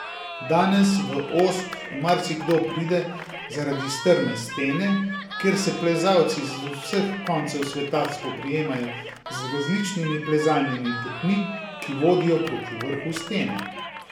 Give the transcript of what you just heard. Danes v Osp marsikdo pride zaradi strme stene, kjer se plezalci z vseh koncev sveta spoprijemajo z različnimi plezalnimi potmi, ki vodijo proti vrhu stene.